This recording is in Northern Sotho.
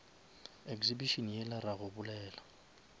exhibition yela ra go bolela